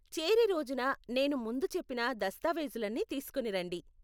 చేరే రోజున నేను ముందు చెప్పిన దస్తావేజులన్నీ తీస్కోని రండి.